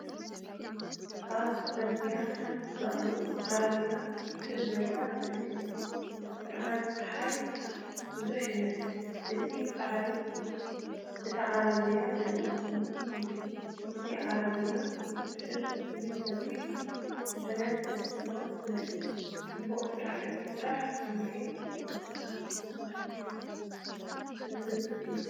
ኣብ ጽርግያ ሓንቲ በቕሊ ዓረብያ ትስሕብ ዘላ ስእሊ እያ። ብርሃን ጸሓይ ብዙሕ ይመስል፣ ነቲ ጻዕሪ እታ ዓረብያ ድማ ስምዒት ይህብ። እታ ዓረብያ እትስሕብ ብፍሉይ ከቢድ ጽዕነት ተሰኪማ ትመስል። ጽዑቕ ስራሕ እቲ ስራሕ ብስምዒት ዝትንክፍ እዩ።